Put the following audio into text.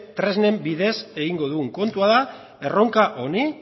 tresna bidez egingo dugun kontua da erronka honi